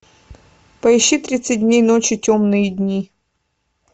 поищи тридцать дней ночи темные дни